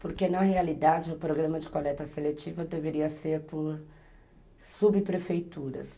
Porque, na realidade, o programa de coleta seletiva deveria ser por subprefeituras.